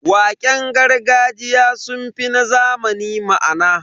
Waƙen gargajiya sun fi na zamani ma'ana.